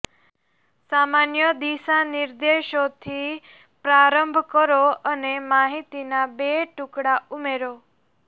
સામાન્ય દિશાનિર્દેશોથી પ્રારંભ કરો અને માહિતીના બે ટુકડા ઉમેરો